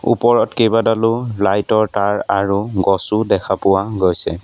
ওপৰত কেইবাডালো লাইট ৰ তাঁৰ আৰু গছও দেখা পোৱা গৈছে।